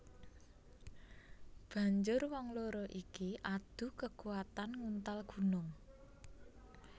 Banjur wong loro iki adu kekuatan nguntal gunung